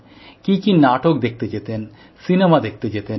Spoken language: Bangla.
কী কী নাটক দেখতে যেতেন সিনেমা দেখতে যেতেন